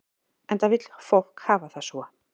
Enda vill fólk hafa það svo.